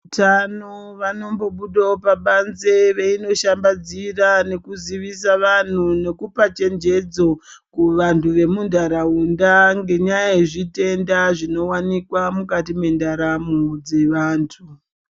Utano vanombobudawo pabanzi veinoshambadzira nekuzivisa vanhu nekupachenjedzo kuvanhu vemunharaunda ngenyaya yezvitenda zvinowanikwa mukati mwendaramo dzevanhu.